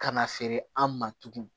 Ka na feere an ma tugun